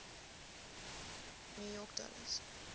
new york dollst